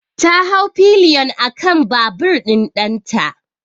Ta hau pilion akan babur ɗin ɗanta.